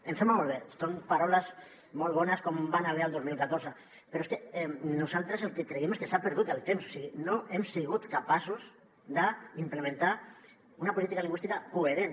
em sembla molt bé són paraules molt bones com van haver hi el dos mil catorze però és que nosaltres el que creiem és que s’ha perdut el temps o sigui no hem sigut capaços d’implementar una política lingüística coherent